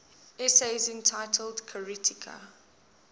essays entitled kritika